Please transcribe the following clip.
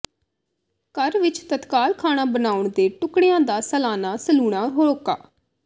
ਘਰ ਵਿਚ ਤਤਕਾਲ ਖਾਣਾ ਬਣਾਉਣ ਦੇ ਟੁਕੜਿਆਂ ਦਾ ਸਲਾਨਾ ਸਲੂਣਾ ਹੋਕਾ